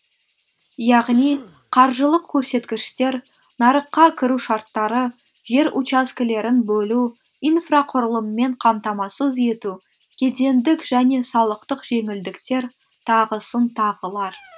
яғни қаржылық көрсеткіштер нарыққа кіру шарттары жер учаскелерін бөлу инфрақұрылыммен қамтамасыз ету кедендік және салықтық жеңілдіктер тағысын тағылар